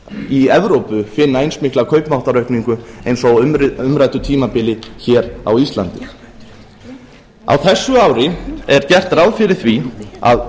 í evrópu finna eins mikla kaupmáttaraukningu eins og á umræddu tímabili hér á íslandi á þessu ári er gert ráð fyrir því að